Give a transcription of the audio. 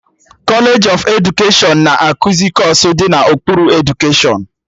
Kọlej of edukeshọn na-ekuzi kọọsụ dị n'okpuru edukeshọn